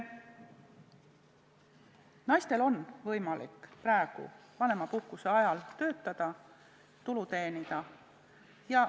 Naistel on võimalik praegu vanemapuhkuse ajal töötada, tulu teenida.